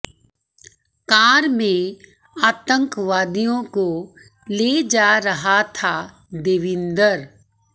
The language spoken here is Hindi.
कार में आतंकवादियों को ले जा रहा था देविंदर